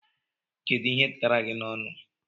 Kedụ ihe tara gị n'ọnu?